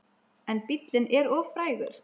En bíllinn er of frægur.